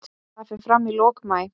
Það fer fram í lok maí.